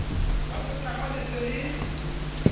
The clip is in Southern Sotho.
la botahwa le se le